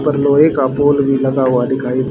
उपर लोहे का पोल भी लगा हुआ दिखाई--